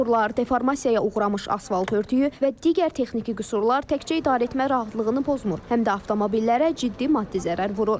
Çuxurlar, deformasiyaya uğramış asfalt örtüyü və digər texniki qüsurlar təkcə idarəetmə rahatlığını pozmur, həm də avtomobillərə ciddi maddi zərər vurur.